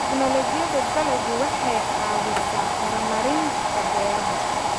Tignoolajiyada dalaggu waxay caawisaa horumarinta beeraha.